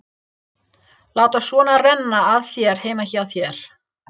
Láta svo renna af þér heima hjá þér.